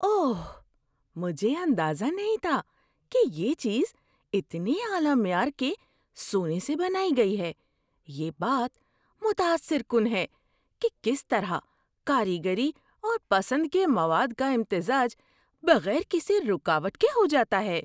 اوہ، مجھے اندازہ نہیں تھا کہ یہ چیز اتنے اعلی معیار کے سونے سے بنائی گئی ہے۔ یہ بات متاثر کن ہے کہ کس طرح کاریگری اور پسند کے مواد کا امتزاج بغیر کسی رکاوٹ کے ہو جاتا ہے۔